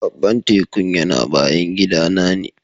Baban tekun yana bayan gida na ne.